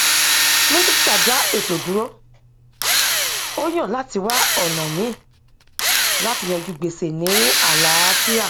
minisita dá ètò dúró ó yàn láti wá ọnà míì láti yanjú gbèsè ní àlàáfíà